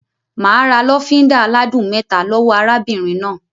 Mà á ra lọ́fíńdà aládùn mẹ́ta lọ́wọ́ arábìnrin náà.